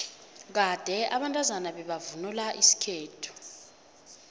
kade abantazana bebavvnula isikhethu